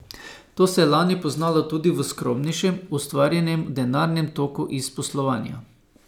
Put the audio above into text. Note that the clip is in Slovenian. To se je lani poznalo tudi v skromnejšem ustvarjenem denarnem toku iz poslovanja.